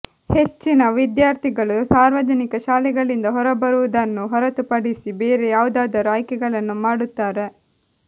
ಹೆಚ್ಚಿನ ವಿದ್ಯಾರ್ಥಿಗಳು ಸಾರ್ವಜನಿಕ ಶಾಲೆಗಳಿಂದ ಹೊರಬರುವುದನ್ನು ಹೊರತುಪಡಿಸಿ ಬೇರೆ ಯಾವುದಾದರೂ ಆಯ್ಕೆಗಳನ್ನು ಮಾಡುತ್ತಾರೆ